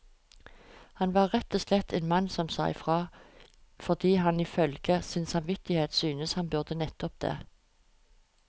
Han var rett og slett en mann som sa ifra, fordi han ifølge sin samvittighet syntes han burde nettopp det.